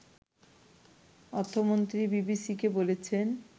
অর্থমন্ত্রী বিবিসিকে বলেছেন